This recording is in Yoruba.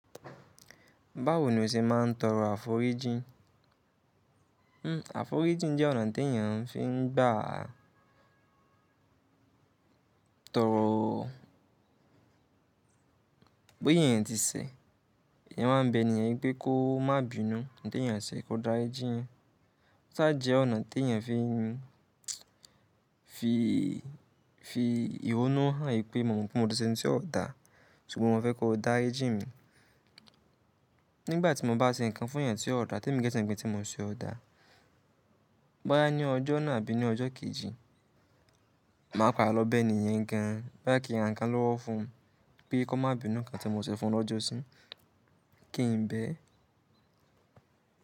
Báwo ni o ṣe máa ń tọrọ àforíjì? Hmm, àforíjì jẹ́ ọ̀nà tí èèyàn fi ń gbà tọrọ bó ya èèyàn tí ṣẹ. Èèyàn wá ń bẹ ènìyàn pé kó má bínú. Oun tí èèyàn ṣe kó dárijí èèyàn. Ó sá e jẹ́ ọ̀nà tí èèyàn fi, fi, fi ìyónú hàn wípé mọ̀ pé mo ti ṣe oun tí ó dá, ṣùgbọ́n mo fẹ́ kó dárijí mi. Nígbà tí mo bá ṣe nǹkan fún èèyàn tí ó dá tí èmi gan mo wípé ǹkan tí mo ṣe ó dá. Bóyá ní ọjọ́ náà àbí ní ọjọ́ kejì, màá bá lọ́ bẹ ẹni yẹn gan-an. Bóyá kí rà ǹkan lọ́wọ́ fún un pé kó má bínú nǹkan tí mo ṣe fún lọ́jọ́ sí. Kí n bẹ́.